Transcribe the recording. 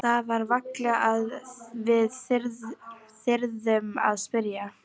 Það var varla að við þyrðum að spyrja.